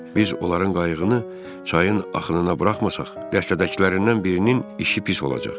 Biz onların qayığını çayın axınına buraxmasaq, dəstədəkilərindən birinin işi pis olacaq.